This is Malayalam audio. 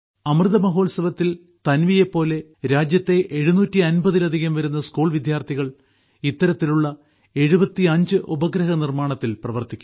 അമൃത മഹോത്സവത്തിൽ തൻവിയെപ്പോലെ രാജ്യത്തെ എഴുന്നൂറ്റി അമ്പതിലധികം വരുന്ന സ്കൂൾ വിദ്യാർത്ഥികൾ ഇത്തരത്തിലുള്ള 75 ഉപഗ്രഹ നിർമ്മാണത്തിൽ ഏർപ്പെട്ടിരിക്കുന്നു